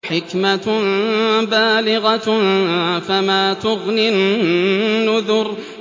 حِكْمَةٌ بَالِغَةٌ ۖ فَمَا تُغْنِ النُّذُرُ